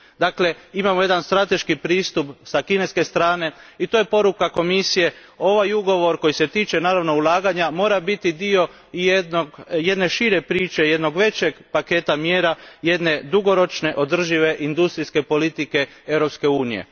Dakle, imamo jedan strateški pristup s kineske strane i to je poruka Komisije. Ovaj ugovor koji se tiče, naravno, ulaganja, mora biti dio i jedne šire priče, jednog većeg paketa mjera, jedne dugoročne održive industrijske politike Europske unije.